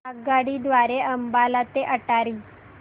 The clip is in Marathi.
आगगाडी द्वारे अंबाला ते अटारी